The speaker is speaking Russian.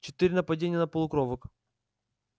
четыре нападения на полукровок